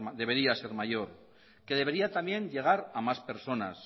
debería ser mayor que debería también llegar a más personas